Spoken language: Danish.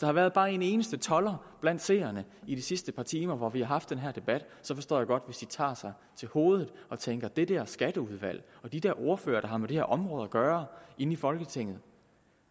har været bare en eneste tolder blandt seerne i de sidste par timer hvor vi haft den her debat forstår jeg godt hvis de tager sig til hovedet og tænker det der skatteudvalg og de der ordførere der har med det her område at gøre inde i folketinget